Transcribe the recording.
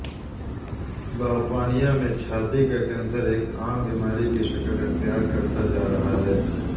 برطانیہ میں چھاتی کا کینسر ایک عام بیماری کی شکل اختیار کرتا جا رہا ہے